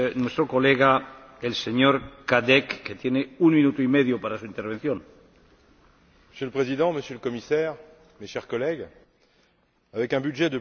Monsieur le Président, Monsieur le Commissaire, chers collègues, avec un budget de plus de 400 milliards d'euros pour la prochaine période de programmation, la PAC reste la première politique européenne.